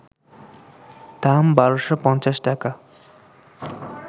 দাম ১,২৫০ টাকা